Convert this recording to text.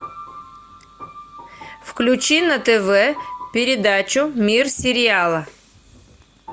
включи на тв передачу мир сериала